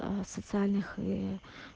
социальных